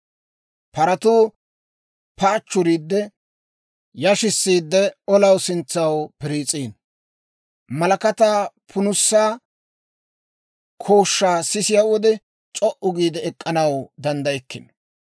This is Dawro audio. Paratuu paachchuriidde yashissiidde, olaw sintsaw piriis'iino. Malakataa punusaa kooshshaa sisiyaa wode, c'o"u giide ek'k'anaw danddaykkino;